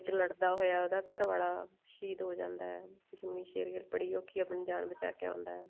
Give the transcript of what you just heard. ਜਦੋਂ ਲੜਦਾ ਹੋਇਆ ਉਹਦਾ ਘਰ ਵਾਲਾ ਸ਼ਹੀਦ ਹੋ ਜਾਂਦਾ ਜਿੰਮੀ ਸ਼ੇਰਗਿੱਲ ਬੜੀ ਔਖੀ ਆਪਣੀ ਜਾਣ ਬਚਾ ਕੇ ਆਉਂਦਾ